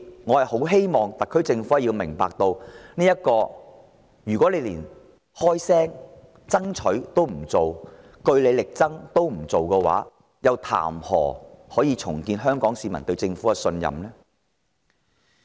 我希望特區政府明白，如果連開聲爭取、據理力爭都不做的話，豈能叫香港市民對政府重拾信任？